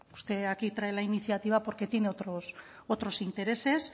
usted aquí trae la iniciativa porque tiene otros intereses